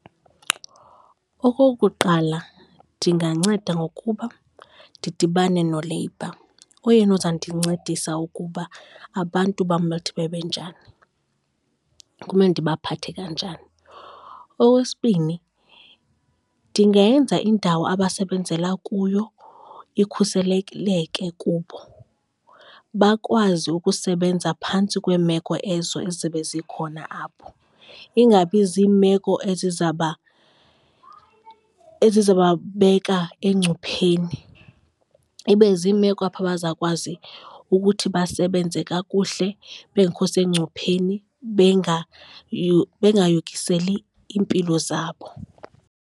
Okokuqala, ndinganceda ngokuba ndidibane no-labour, oyena ozandincedisa ukuba abantu bam bathi bebenjani, kumele ndibaphathe kanjani. Okwesibini, ndingenza indawo abasebenzela kuyo ikhuselekileke kubo, bakwazi ukusebenza phantsi kweemeko ezo ezobe zikhona apho, ingabi ziimeko ezizababeka engcupheni, ibe ziimeko apho bazakwazi ukuthi basebenze kakuhle bengekho sengcupheni bengayokiseli iimpilo zabo.